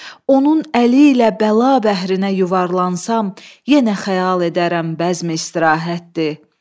Onun əli ilə bəla bəhrinə yuvarlansam, yenə xəyal edərəm bəzmi istirahətdir.